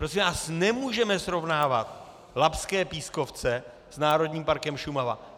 Prosím vás, nemůžeme srovnávat labské pískovce s Národním parkem Šumava.